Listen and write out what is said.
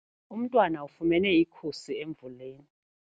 Umntwana ufumene ikhusi emvuleni.